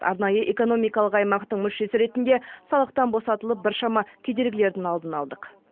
арнайы экономикалық аймақтың мүшесі ретінде салықтан босатылып біршама кедергілердің алдын алдық